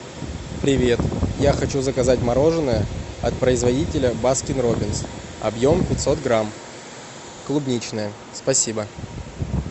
привет я хочу заказать мороженое от производителя баскин роббинс объем пятьсот грамм клубничное спасибо